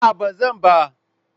A'a ba zan ba.